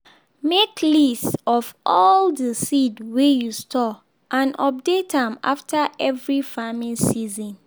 make list of all the seed wey you store and update am after every farming season.